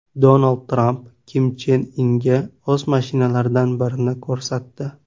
Donald Tramp Kim Chen Inga o‘z mashinalaridan birini ko‘rsatdi .